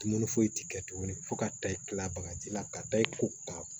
Dumuni foyi ti kɛ tuguni fo ka taa i kila bagaji la ka taa i ko ka